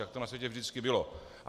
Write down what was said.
Tak to na světě vždycky bylo.